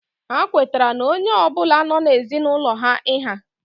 Ha kwetara na onye ọ bụla nọ n'ezinaulo ha iha